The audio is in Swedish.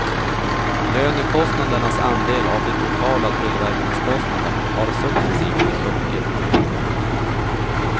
Lönekostnadernas andel av de totala tillverkningskostnaderna har successivt sjunkit.